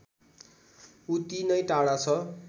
उति नै टाढा छ